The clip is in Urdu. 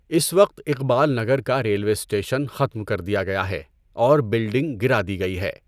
اس وقت اقبال نگر کا ریلوے اسٹیشن ختم کر دیا گیا ہے اور بلڈنگ گِرا دی گٸی ہے۔